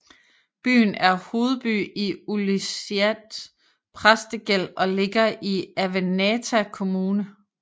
Byen er hovedby i Ilulissat Præstegæld og ligger i Avannaata Kommune